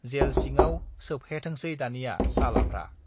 जेल सिङाव सोबहेथोंसै दानिया सालाफ्रा।